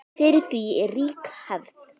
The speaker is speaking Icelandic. Fyrir því er rík hefð.